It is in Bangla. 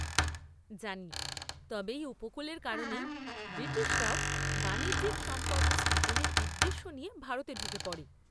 জানি, তবে এই উপকূলের কারণেই ব্রিটিশরাও বাণিজ্যিক সম্পর্ক স্থাপনের উদ্দেশ্য নিয়ে ভারতে ঢুকে পড়ে।